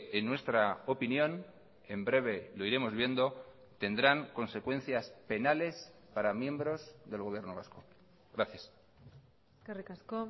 en nuestra opinión en breve lo iremos viendo tendrán consecuencias penales para miembros del gobierno vasco gracias eskerrik asko